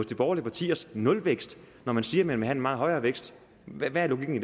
de borgerlige partiers nulvækst når man siger at man vil have en meget højere vækst hvad er logikken